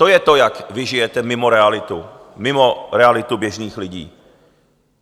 To je to, jak vy žijete mimo realitu, mimo realitu běžných lidí.